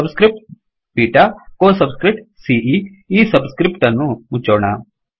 ಸಬ್ script beta ಕೊ subscript ಸಿಇ ಈ ಸಬ್ ಸ್ಕ್ರಿಫ್ಟ್ ಅನ್ನು ಮುಚ್ಚೋಣ